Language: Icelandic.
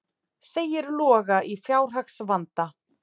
Segir Loga í fjárhagsvanda